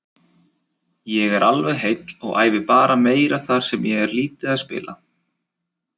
Ég er alveg heill og æfi bara meira þar sem ég er lítið að spila.